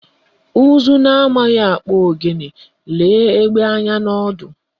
Ụzụ na amaghị akpụ ogene lee egbe anya n'ọdụ